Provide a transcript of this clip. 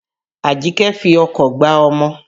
Àjíkẹ́ fi ọkọ̀ gbá ọmọ.